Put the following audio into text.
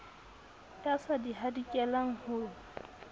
ya sa di hadikelang ho